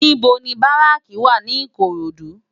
NIbò ni báráki wá ni Ikorodu?